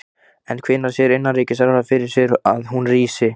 En hvenær sér innanríkisráðherra fyrir sér að hún rísi?